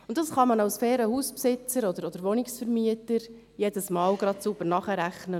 Das kann man als fairer Hausbesitzer oder Wohnungsvermieter jedes Mal sauber nachrechnen.